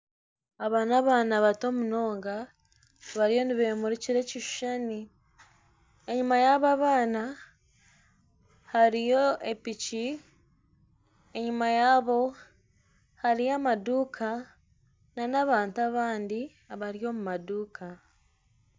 Aba n'abaana bato munonga bariyo nibemurikira ekishuushani enyuma yaba abaana hariyo epiiki enyuma yaabo hariyo amaduuka na n'abantu abandi abari omu maduuka.